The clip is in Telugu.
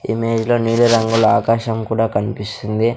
ఇమేజ్ లో నీలిరంగుల ఆకాశం కూడా కనిపిస్తుంది.